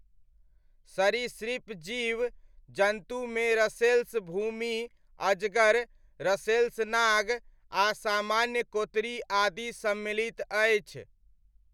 सरीसृप जीव जन्तुमे रसेल्स भूमि अजगर, रसेल्स नाग आ सामान्य कोतरी आदि सम्मिलित अछि।